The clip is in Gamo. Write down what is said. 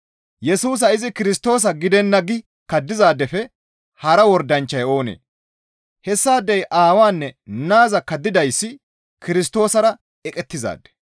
Yesusa izi Kirstoosa gidenna gi kaddizaadefe hara wordanchchay oonee? Hessaadey Aawaanne Naaza kaddizayssi Kirstoosara eqettizaade.